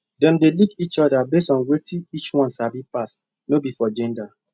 dem dey lead each other based on wetin each one sabi pass no be for gender